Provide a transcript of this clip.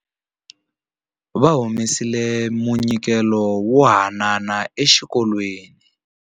Va humesile munyikelo wo hanana exikolweni.